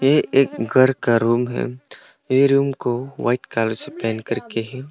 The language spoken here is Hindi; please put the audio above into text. ये एक घर का रूम है ये रूम को व्हाइट कलर से पेंट करके है।